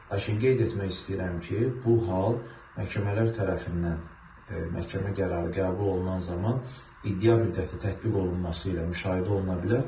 Lakin qeyd etmək istəyirəm ki, bu hal məhkəmələr tərəfindən məhkəmə qərarı qəbul olunan zaman iddia müddəti tətbiq olunması ilə müşahidə oluna bilər.